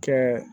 Kɛ